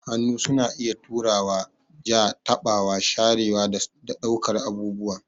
Hannu suna iya turawa, ja, taɓawa, sharewa, da ɗaukar abubuwa.